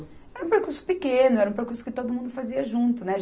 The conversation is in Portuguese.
Era um percurso pequeno, era um percurso que todo mundo fazia junto, né?